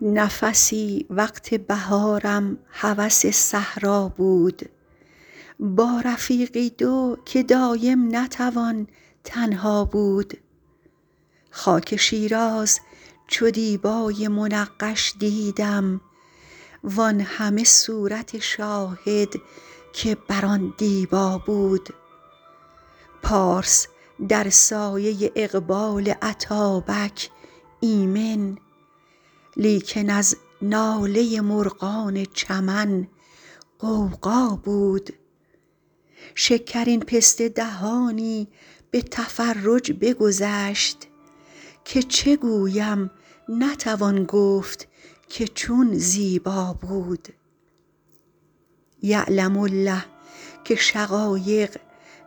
نفسی وقت بهارم هوس صحرا بود با رفیقی دو که دایم نتوان تنها بود خاک شیراز چو دیبای منقش دیدم وان همه صورت شاهد که بر آن دیبا بود پارس در سایه اقبال اتابک ایمن لیکن از ناله مرغان چمن غوغا بود شکرین پسته دهانی به تفرج بگذشت که چه گویم نتوان گفت که چون زیبا بود یعلم الله که شقایق